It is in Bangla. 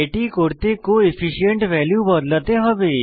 এটি করতে কোফিশিয়েন্ট ভ্যালু বদলাতে হবে